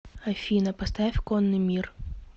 афина поставь конный мир